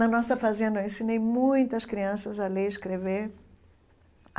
Na nossa fazenda, eu ensinei muitas crianças a ler e escrever.